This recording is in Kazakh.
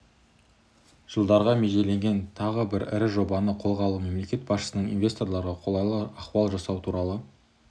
жылдарға межеленген тағы бір ірі жобаны қолға алуы мемлекет басшысының инвесторларға қолайлы ахуал жасау туралы